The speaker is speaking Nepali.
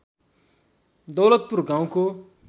दौलतपुर गाउँको